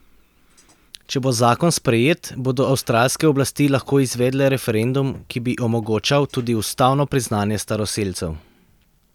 Če bo zakon sprejet, bodo avstralske oblasti lahko izvedle referendum, ki bi omogočal tudi ustavno priznanje staroselcev.